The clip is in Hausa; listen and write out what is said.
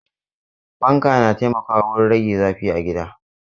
Fanka na taimakawa wurin rage zafin a gida.